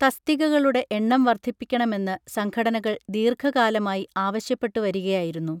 തസ്തികകളുടെ എണ്ണം വർധിപ്പിക്കണമെന്ന് സംഘടനകൾ ദീർഘകാലമായി ആവശ്യപ്പെട്ടു വരികയായിരുന്നു